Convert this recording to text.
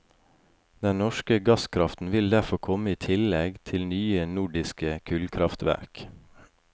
Den norske gasskraften vil derfor komme i tillegg til nye nordiske kullkraftverk.